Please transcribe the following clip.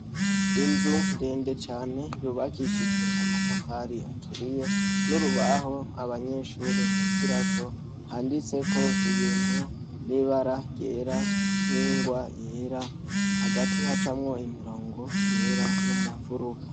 Inzu ndende cane yubakishijwe amatafari aturiye, n'urubaho abanyeshure bigirako, handitseko ibintu, nibara ryera, ningwa yera, hagati hacamwo imirongo yera nomunfuruka.